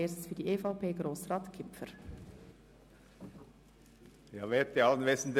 Für die EVP-Fraktion hat Grossrat Kipfer das Wort.